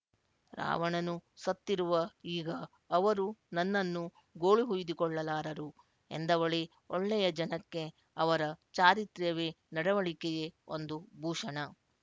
ರಾವಣನು ಸತ್ತಿರುವ ಈಗ ಅವರು ನನ್ನನ್ನು ಗೋಳುಹುಯಿದುಕೊಳ್ಳಲಾರರು ಎಂದವಳೇ ಒಳ್ಳೆಯ ಜನಕ್ಕೆ ಅವರ ಚಾರಿತ್ರ್ಯವೇ ನಡವಳಿಕೆಯೇ ಒಂದು ಭೂಷಣ